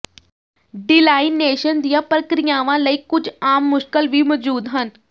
ਡੀਲਾਇਨੇਸ਼ਨ ਦੀਆਂ ਪ੍ਰਕਿਰਿਆਵਾਂ ਲਈ ਕੁੱਝ ਆਮ ਮੁਸ਼ਕਲ ਵੀ ਮੌਜੂਦ ਹਨ